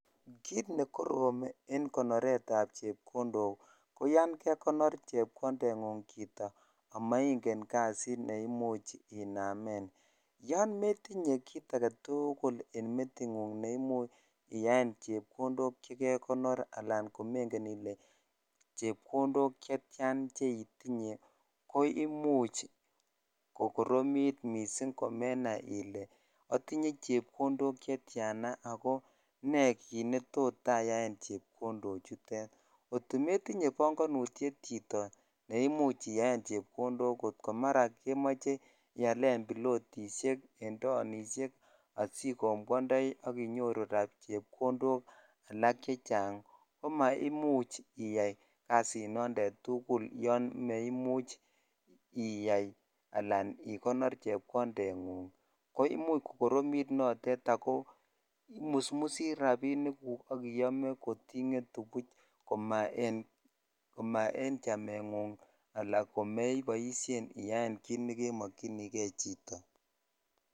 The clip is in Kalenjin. Kit ne korom en konoret ab chepkondok ko yan kekonor chepkondengung chito amaingen kasit ne imuch inamen yon metinye kit agetukul en metinyung ne imuch iyaen chepkondok che konor al ko.engen ile chepkondok chekekonor chetyan che itinye ko imuch kokoromit missing komenai ile otinye chepkondok chetyana ako ne kit netot ayaen chepkondo chutet kot kometinye bangonutyet chito ne imuch itaen chepkondok kot ko mara kemoe ialen bilotishek en taonishek adikombwondoi ak inyoru chepkondok ak chechang ko msimuch iyai kasinondon tugul yan msimuch iya ala ikonor chepkondengung ko imuch ko koromit notet ak imusmus rabinik guk ak iyome kot ingetu buch ko ma en chamengung ala komeyaen kit nekomokyinibkei chito